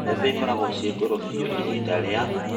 Mbembe ikorago ciĩ ngũrũ biũ hĩndĩ ĩrĩa: